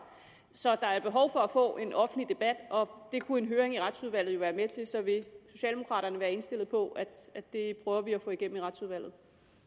så der er behov for at få en offentlig debat og det kunne en høring i retsudvalget jo være med til så vil socialdemokraterne være indstillet på at at det prøver vi at få igennem i retsudvalget